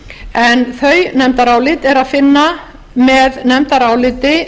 en þau nefndarálit er að finna með nefndaráliti